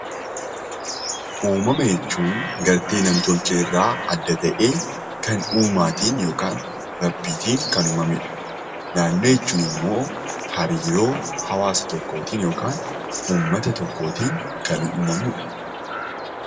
Uumama jechuun galtee nam-tolchee irraa adda ta'e, kan uumaatiin yookiin Rabbiin kan uumamedha. Naannoo jechuun immoo hariiroo hawaasa tokkoo yookiin uummata tokkootiin kan uumamudha.